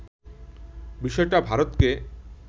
বিষয়টা ভারতকে